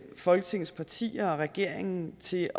folketingets partier og regeringen til